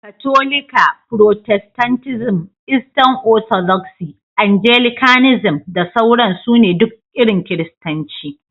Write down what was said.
Katolika, protestantism, Eastern Orthodoxy, Anglicanism da sauran su ne duk irin Kiristanci.